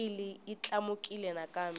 oyili yi tlakukile nakambe